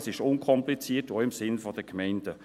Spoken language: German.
Es ist unkompliziert und auch im Sinne der Gemeinden.